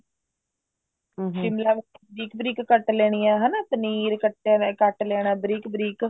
ਸ਼ਿਮਲਾ ਮਿਰਚ ਬਰੀਕ ਬਰੀਕ ਕੱਟ ਲੈਣੇ ਨੇ ਹਨਾ ਪਨੀਰ ਕੱਟ ਲੈਣਾ ਬਰੀਕ ਬਰੀਕ